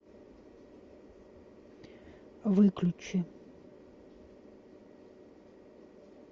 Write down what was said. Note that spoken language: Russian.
выключи